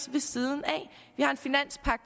ved siden af vi har en finanspagt